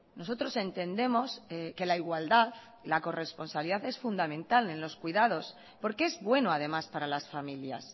nosotros entendemos que la igualdad y la corresponsabilidad es fundamental en los cuidados porque es bueno además para las familias